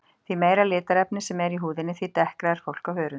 Því meira litarefni sem er í húðinni því dekkra er fólk á hörund.